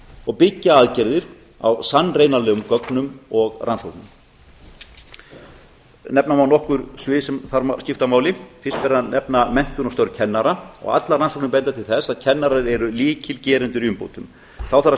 og byggja aðgerðir á sannreynanlegum gögnum og rannsóknum nefna má nokkur svið sem þar skipta máli fyrst er að nefna menntun og störf kennara og allar rannsóknir benda til þess að að kennarar séu lykilgerendur í umbótum þá þarf að